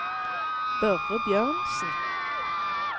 Børre Bjørnsen